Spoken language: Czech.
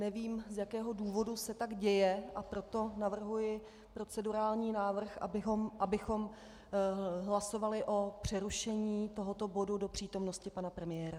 Nevím, z jakého důvodu se tak děje, a proto navrhuji procedurální návrh, abychom hlasovali o přerušení tohoto bodu do přítomnosti pana premiéra.